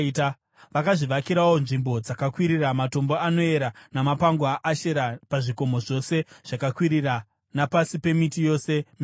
Vakazvivakirawo nzvimbo dzakakwirira, matombo anoera namapango aAshera pazvikomo zvose zvakakwirira napasi pemiti yose mikuru.